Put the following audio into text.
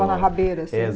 Andava na rabeira assim.